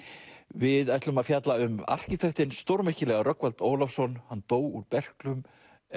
við ætlum að fjalla um arkitektinn stórmerkilega Rögnvald Ólafsson hann dó úr berklum